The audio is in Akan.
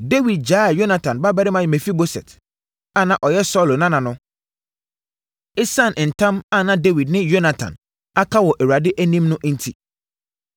Dawid gyaee Yonatan babarima Mefiboset a na ɔyɛ Saulo nana no, ɛsiane ntam a na Dawid ne Yonatan aka wɔ Awurade anim no enti.